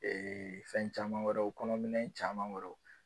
fɛn caman wɛrɛw kɔnɔ minɛn caman wɛrɛw